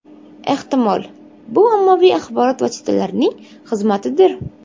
Ehtimol, bu ommaviy axborot vositalarining xizmatidir.